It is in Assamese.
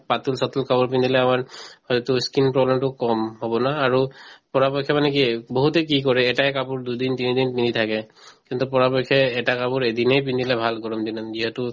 পাতল চাতল কাপোৰ পিন্ধিলে হয়তো skin problem তো অলপ কম হব না আৰু পৰাপক্ষে মানে কি বহুতে কি কৰে এটায়ে কাপোৰ দুইদিন তিনদিন পিন্ধি থাকে কিন্তু পৰাপক্ষে এটা কাপোৰ এদিনে পিন্ধিলে ভাল গৰম দিনত যিহেতু